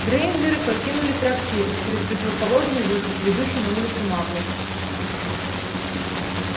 грэйнджеры покинули трактир через противоположный выход ведущий на улицу маглов